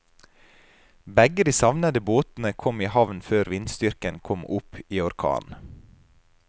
Begge de savnede båtene kom i havn før vindstyrken kom opp i orkan.